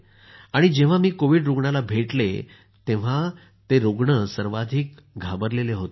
जेंव्हा मी कोविड रूग्णाला भेटले तेंव्हा ते सर्वात जास्त घाबरले होते